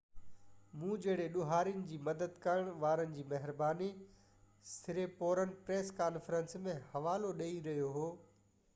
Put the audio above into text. مون جهڙي ڏوهاري جي مدد ڪرڻ وارن جي مهرباني سريپورن پريس ڪانفرنس ۾ حوالو ڏيئي رهيو هو